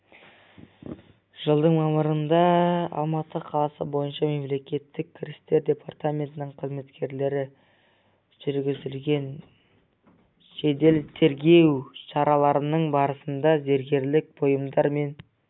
жылдың мамырында алматы қаласы бойынша мемлекеттік кірістер департаментінің қызметкерлері жүргізген жедел-тергеу шараларының барысында зергерлік бұйымдар мен